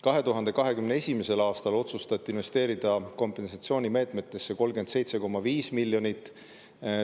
2021. aastal otsustati investeerida kompensatsioonimeetmetesse 37,5 miljonit.